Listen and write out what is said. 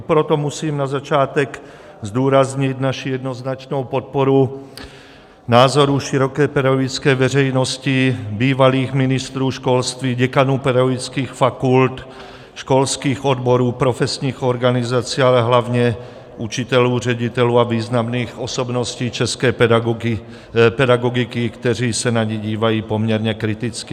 I proto musím na začátek zdůraznit naši jednoznačnou podporu názoru široké pedagogické veřejnosti, bývalých ministrů školství, děkanů pedagogických fakult, školských odborů, profesních organizací, ale hlavně učitelů, ředitelů a významných osobností české pedagogiky, kteří se na ni dívají poměrně kriticky.